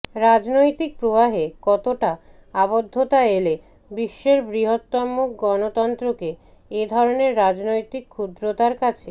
রাজনৈতিক প্রবাহে কতটা আবদ্ধতা এলে বিশ্বের বৃহত্তম গণতন্ত্রকে এ ধরনের রাজনৈতিক ক্ষুদ্রতার কাছে